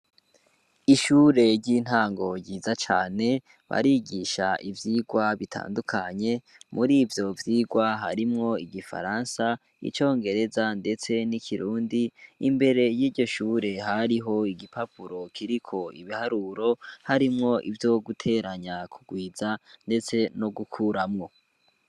Ishure ry'intango ryiza cane barigisha ivyirwa bitandukanye muri ivyo vyirwa harimwo igifaransa icongereza, ndetse n'ikirundi imbere y'iryo shure hariho igipapuro kiriko ibiharuro harimwo ivyo guteranya kugwizane tce no gukuramwo.